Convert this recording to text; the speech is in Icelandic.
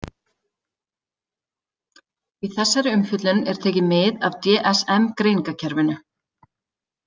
Í þessari umfjöllun er tekið mið af DSM-greiningarkerfinu.